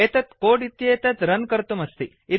एतत् कोड् इत्येतत् रन् कर्तुं अस्ति